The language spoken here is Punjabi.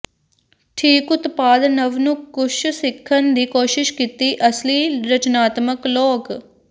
ਠੀਕ ਉਤਪਾਦ ਨਵ ਨੂੰ ਕੁਝ ਸਿੱਖਣ ਦੀ ਕੋਸ਼ਿਸ਼ ਕੀਤੀ ਅਸਲੀ ਰਚਨਾਤਮਕ ਲੋਕ